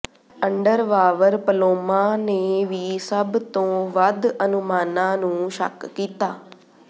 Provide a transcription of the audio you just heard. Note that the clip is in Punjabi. ਅੰਡਰਵਾਵਰ ਪਲੌਮਾਂ ਨੇ ਵੀ ਸਭ ਤੋਂ ਵੱਧ ਅਨੁਮਾਨਾਂ ਨੂੰ ਸ਼ੱਕ ਕੀਤਾ